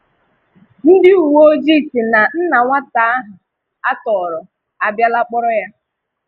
Ndị uweojii sị na nna nwata ahụ atọrọ á bìalà kpọrọ ya.